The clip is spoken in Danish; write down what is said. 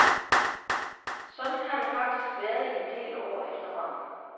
Sådan har det faktisk været i en del år efterhånden.